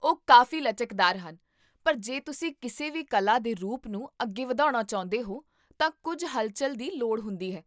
ਉਹ ਕਾਫ਼ੀ ਲਚਕਦਾਰ ਹਨ ਪਰ ਜੇ ਤੁਸੀਂ ਕਿਸੇ ਵੀ ਕਲਾ ਦੇ ਰੂਪ ਨੂੰ ਅੱਗੇ ਵਧਾਉਣਾ ਚਾਹੁੰਦੇ ਹੋ ਤਾਂ ਕੁੱਝ ਹਲਚੱਲ ਦੀ ਲੋੜ ਹੁੰਦੀ ਹੈ